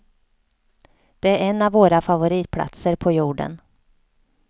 Det är en av våra favoritplatser på jorden.